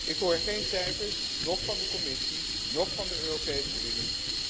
Ik hoor geen cijfers, noch van de Commissie noch van de Europese